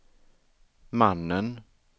mannen